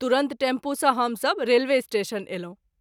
तुरत टैम्पू सँ हम सभ रेलवे स्टेशन अयलहुँ।